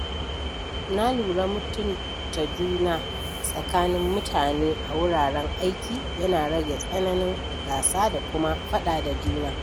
Na lura mutunta juna tsakanin mutane a wuraren aiki yana rage tsananin gasa da kuma faɗa da juna.